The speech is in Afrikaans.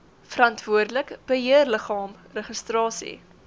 verantwoordelike beheerliggaam registrasie